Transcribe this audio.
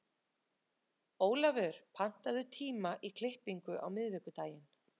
Olavur, pantaðu tíma í klippingu á miðvikudaginn.